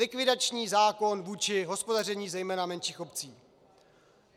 Likvidační zákon vůči hospodaření zejména menších obcí.